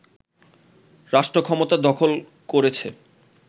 রাষ্ট্রক্ষমতা দখল করেছে